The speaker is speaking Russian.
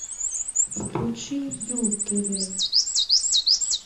включи ю тв